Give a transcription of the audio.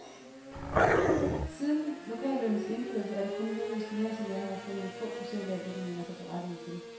Siden lokallønnens indførelse er det kun lykkedes gymnasielærerne at få nogle få procent af, hvad de mener sig berettiget til.